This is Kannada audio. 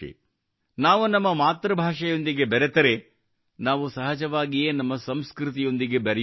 ನಾವು ನಮ್ಮ ಮಾತೃಭಾಷೆಯೊಂದಿಗೆ ಬೆರೆತರೆ ನಾವು ಸಹಜವಾಗಿಯೇ ನಮ್ಮ ಸಂಸ್ಕೃತಿಯೊಂದಿಗೆ ಬೆರೆಯುತ್ತೇವೆ